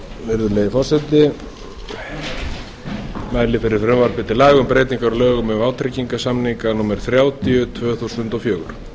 virðulegi forseti ég mæli fyrir frumvarpi til laga um breytingu á lögum um vátryggingarsamninga númer þrjátíu tvö þúsund og fjögur